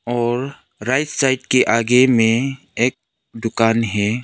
और right side के आगे में एक दुकान है।